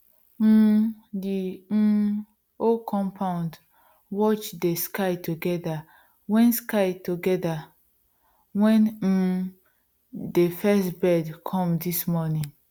um the um whole compound watch dey sky together wen sky together wen um dey first birds come dis morning